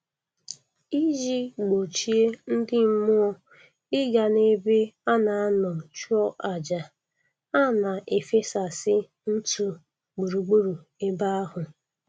Iji gbochie ndị mmụọ ịga n'ebe a ga-anọ chụọ aja, a na-efesasị ntụ gburugburu ebe ahụ